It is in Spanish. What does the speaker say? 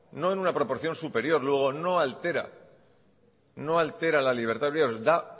no en una proporción superior luego no altera la libertad no altera la libertad de horarios da